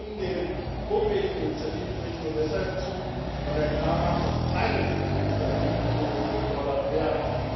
Wir stimmen dem vorgelegten Initiativbericht nur deshalb zu, weil er klar macht, dass keine legislativen Änderungen gefordert werden.